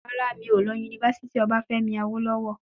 Rárá, mi ò lọ sí yunifásítì obafemi awolowo.